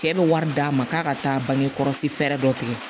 Cɛ bɛ wari d'a ma k'a ka taa bangekɔlɔsi fɛɛrɛ dɔ tigɛ